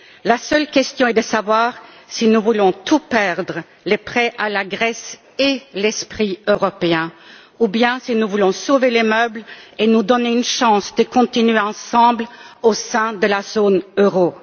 La seule question, c'est de savoir si nous voulons tout perdre, à savoir les prêts à la Grèce et l'esprit européen, ou bien si nous voulons sauver les meubles et nous donner une chance de continuer ensemble au sein de la zone euro.